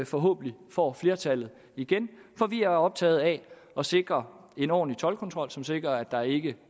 forhåbentlig får flertallet igen for vi er optaget af at sikre en ordentlig toldkontrol som sikrer at der ikke